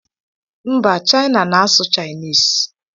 Mba, China na-asụ Chinese.